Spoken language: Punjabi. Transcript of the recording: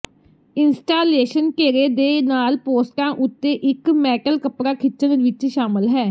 ਇੰਸਟਾਲੇਸ਼ਨ ਘੇਰੇ ਦੇ ਨਾਲ ਪੋਸਟਾਂ ਉੱਤੇ ਇੱਕ ਮੈਟਲ ਕੱਪੜਾ ਖਿੱਚਣ ਵਿੱਚ ਸ਼ਾਮਲ ਹੈ